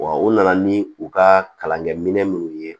Wa u nana ni u ka kalankɛminɛn minnu ye